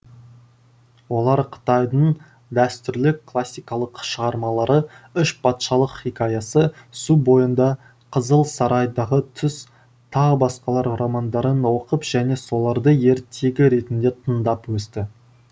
олар қытайдың дәстүрлі классикалық шығармалары үш патшалық хикаясы су бойында қызыл сарайдағы түс т б романдарын оқып және соларды ертегі ретінде тыңдап өсті